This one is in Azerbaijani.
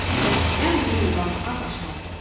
Bərkdən quruldamağa başladı.